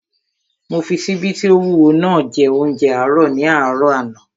Mo fi ṣíbí tí ó wúwo naa jẹ óúnjẹ àárọ̀ ní àárọ̀ àná